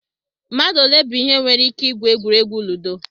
Mmadụ olee bụ ihe nwere ike igwu egwuregwu ludo?